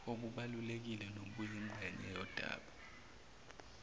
obubalulekile nobuyingxenye yodaba